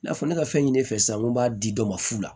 I n'a fɔ ne ka fɛn fɛ sisan n ko n b'a di dɔ ma fu la